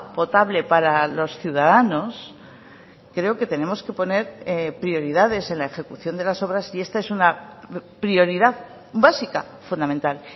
potable para los ciudadanos creo que tenemos que poner prioridades en la ejecución de las obras y esta es una prioridad básica fundamental